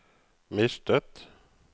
mistet